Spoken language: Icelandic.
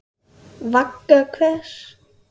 Vagga hvers?